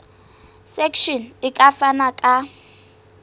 section e ka fana ka